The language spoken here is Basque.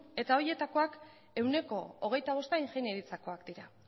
eta horietakoak ehuneko hogeita bosta ingeniaritzakoak dira